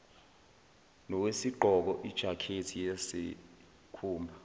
nowesigqoko ijakhethi yesikhumba